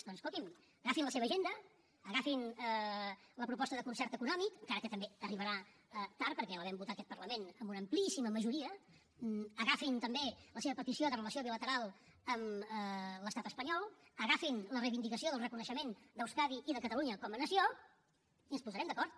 doncs escolti’m agafin la seva agenda agafin la proposta de concert econòmic encara que també arribarà tard perquè la vam votar aquest parlament amb una amplíssima majoria agafin també la seva petició de relació bilateral amb l’estat espanyol agafin la reivindicació del reconeixement d’euskadi i de catalunya com a nació i ens hi posarem d’acord